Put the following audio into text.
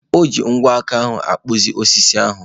O ji ogwe aka ahụ na-akpụzi osisi ahụ.